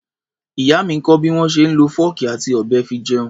Ìyá mi ń kọ́ bí wọ́n ṣe ń lọ fọ́ọ̀kì àti ọ̀bẹ fi jẹun.